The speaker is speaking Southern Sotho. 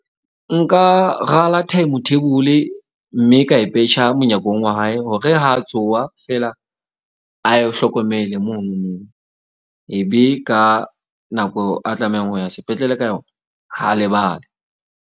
Nka rala time table mme ka e petjha monyakong wa hae, hore ha a tsoha fela ayo hlokomele monono. Ebe ka nako a tlamehang ho ya sepetlele ka yona ha lebale.